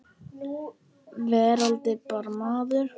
Verandi bara maður.